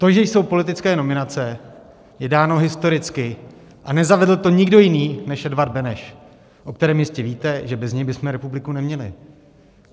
To, že jsou politické nominace, je dáno historicky a nezavedl to nikdo jiný než Edvard Beneš, o kterém jistě víte, že bez něj bychom republiku neměli.